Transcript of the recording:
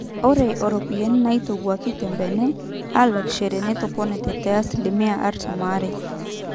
ore iropiyiani naaitawuoki tembenne aalakishori netoponate te asilimia artam aare